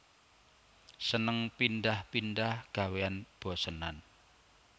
Seneng pindhah pindhah gawéan bosenan